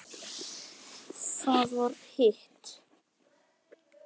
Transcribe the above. Það var hitt.